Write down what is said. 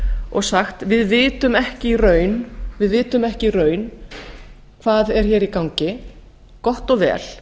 og sagt við vitum ekki í raun hvað er hér í gangi gott og vel